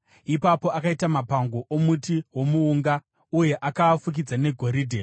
Ipapo akaita mapango omuti womuunga uye akaafukidza negoridhe.